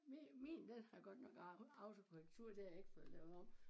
Min min den har godt nok autokorrektur det har jeg ikke fået lavet om